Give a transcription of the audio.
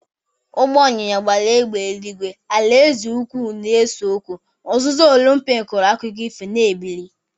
Ụgbọ ịnyịnya gbara égbè eluigwe, alaeze ukwu na-ese okwu, uzuzu Olumpik hụrụ akụkọ ifo na-ebili.